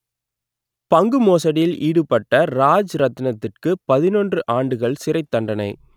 பங்கு மோசடியில் ஈடுபட்ட ராஜ் ரத்தினத்திற்கு பதினொன்று ஆண்டுகள் சிறைத்தண்டனை